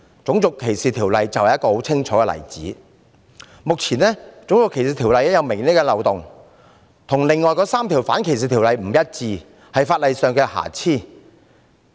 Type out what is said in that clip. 《種族歧視條例》便是一個很清楚的例子，目前，《種族歧視條例》有明顯的漏洞，條文跟另外3項反歧視條例不一致，是法例上的瑕疵。